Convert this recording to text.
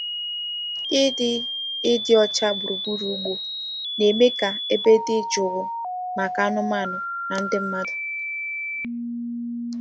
Ịdị Ịdị ọcha gburugburu ugbo na-eme ka ebe dị jụụ maka anụmanụ na ndị mmadụ.